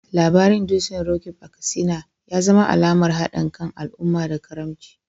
Labarin dutsen Roqeeb a Katsina ya zama alamar hadin kan al’umma da karamci.